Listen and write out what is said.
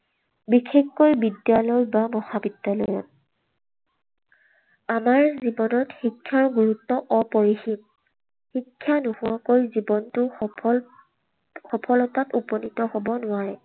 বিশেষকৈ বিদ্যালয় বা মহাবিদ্যালয়ত। আমাৰ জীৱনত শিক্ষাৰ গুৰুত্ব অপৰিসীম। শিক্ষা নোহোৱাকৈ জীৱনটো সফল, সফলতাত উপনীত হব নোৱাৰে।